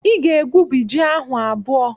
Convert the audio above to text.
Ị ga-egwubi ji ahụ abụọ!